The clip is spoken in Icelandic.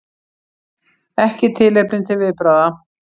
Ekki tilefni til viðbragða